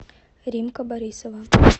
римка борисова